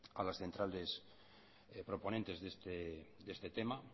a los proponentes de este tema